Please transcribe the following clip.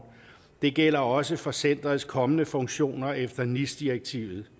det gælder også for centerets kommende funktioner efter nis direktivet